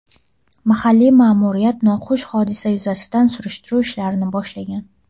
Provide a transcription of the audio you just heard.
Mahalliy ma’muriyat noxush hodisa yuzasidan surishtiruv ishlarini boshlagan.